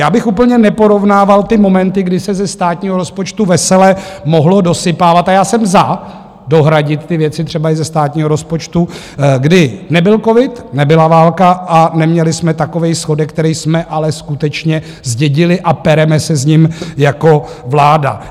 Já bych úplně neporovnával ty momenty, kdy se ze státního rozpočtu vesele mohlo dosypávat, a já jsem za , dohradit ty věci třeba i ze státního rozpočtu, kdy nebyl covid, nebyla válka a neměli jsme takový schodek, který jsme ale skutečně zdědili, a pereme se s ním jako vláda.